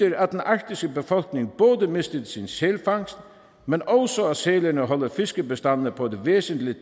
arktiske befolkning både mistede sin sælfangst men også at sælerne holder fiskebestandene på et væsentligt